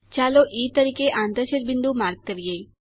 ચાલો ઇ તરીકે આંતરછેદ બિંદુ માર્ક કરીએ